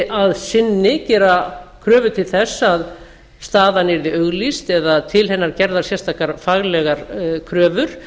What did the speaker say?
að sinni gera kröfu til þess að staðan yrði auglýst eða til hennar gerðar sérstakar kröfur